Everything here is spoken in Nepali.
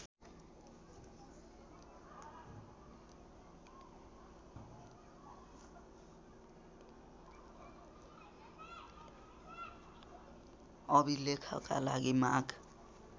अभिलेखका लागि माग